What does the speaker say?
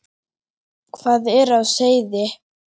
Hvað er á seyði?